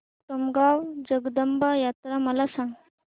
कोटमगाव जगदंबा यात्रा मला सांग